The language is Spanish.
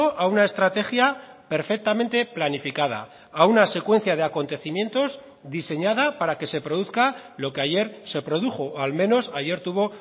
a una estrategia perfectamente planificada a una secuencia de acontecimientos diseñada para que se produzca lo que ayer se produjo o al menos ayer tuvo